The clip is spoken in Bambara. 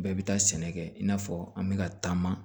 Bɛɛ bɛ taa sɛnɛ kɛ i n'a fɔ an bɛ ka taama